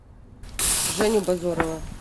женю бозорова